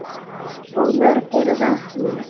Og mörg eru vötnin.